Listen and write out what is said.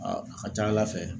a ka ca Ala fɛ